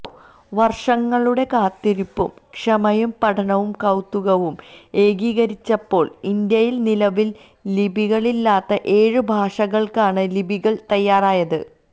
വര്ഷങ്ങളുടെ കാത്തിരിപ്പും ക്ഷമയും പഠനവും കൌതുകവും ഏകീകരിച്ചപ്പോൾ ഇന്ത്യയിൽ നിലവിൽ ലിപികളില്ലാത്ത ഏഴ് ഭാഷകൾക്കാണ് ലിപികൾ തയ്യാറായത്